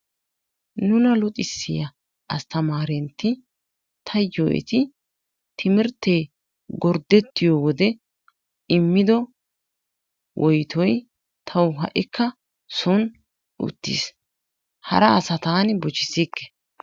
Nuna luxissiyaa asttamarentti taayyo eta timirttee gorddetiyo wode immido woyttoy taw ha'ikka soon uttiis. Hara asaa taani bochchisikke.